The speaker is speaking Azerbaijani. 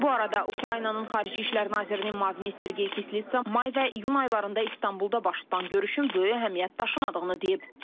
Bu arada Ukraynanın xarici işlər nazirinin müavini Sergey Kislytsa may və iyun aylarında İstanbulda baş tutan görüşün böyük əhəmiyyət daşımadığını deyib.